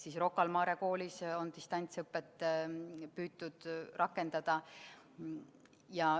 Ka Rocca al Mare Koolis on distantsõpet püütud rakendada.